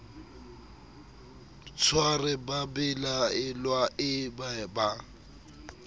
tshware babelaelwa e be ba